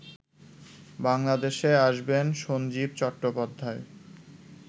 বাংলাদেশে আসবেন সঞ্জীব চট্টোপাধ্যায়